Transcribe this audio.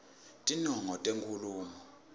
tinongo tenkhulumo